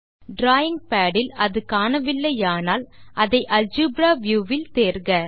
drawing pad இல் அது காணவில்லையானால் அதை அல்ஜெப்ரா வியூ வில் தேர்க